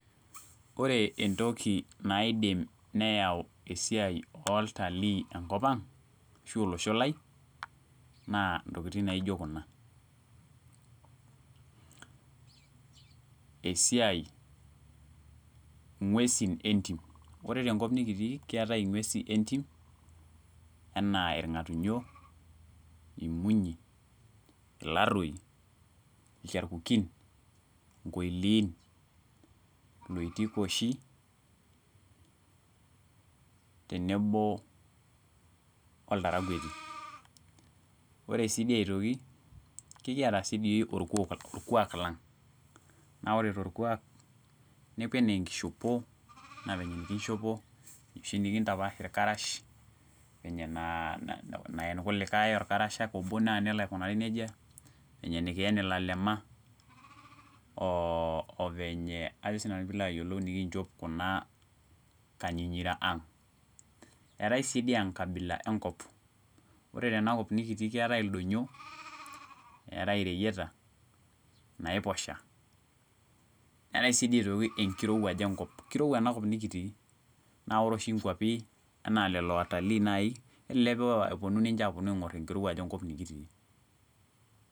Ore entoki naidim neyau esiai oltalii enkopang ashu olosho lai naa ntokitin naijo kuna : esiai , ngwesin entim ,ore tenkop nikitii keetae ingwesin entim anaa irngatunyo , imunyi, ilaroi ,ilcharkukin, nkoiliin , iloitikoishi tenebo oltarakweti .Ore sidii aitoki kekiata sidii orkwak lang naa ore torkwak nepuo anaa enkishopo anaa venye oshi nikinchop , enoshi nikintapaash irkarash , venye naa naen irkulikae orkarasha obo naa nelo aikunari nejia ,venye nikien ilalema ovenye ajo naa sinanu pilo ayiolou nikinchop kuna kanyinyira ang .Etae siidii enkabila enkop , ore tenakop nikitii keetae ildonyio , neetae ireyiata ,inaiposha , neetae sidii aitoki enkirowuaj enkop, kirowua enakop nikitii , naa ore oshi inkwapi enaa lelo watalii nai, kelelek eponu apuo aingor enkirowuaj enkop nikitii.